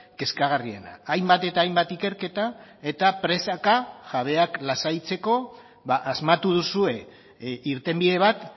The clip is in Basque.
kezkagarriena hainbat eta hainbat ikerketa eta presaka jabeak lasaitzeko asmatu duzue irtenbide bat